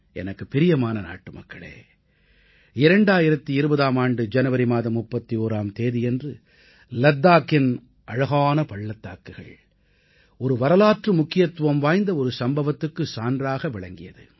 எனக்குப் பிரியமான நாட்டுமக்களே 2020ஆம் ஆண்டும் ஜனவரி மாதம் 31ஆம் தேதியன்று லத்தாக்கின் அழகான பள்ளத்தாக்குகள் ஒரு வரலாற்று முக்கியத்துவம் வாய்ந்த ஒரு சம்பவத்துக்கு சான்றாக விளங்கியது